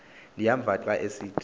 ndiyamva xa esithi